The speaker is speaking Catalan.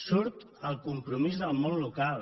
surt el compromís del món local